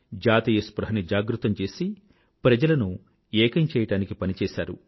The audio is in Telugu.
జాతీయ స్పృహ ని జాగృతం చేసి ప్రజలను ఏకం చేయడానికి పనిచేశారు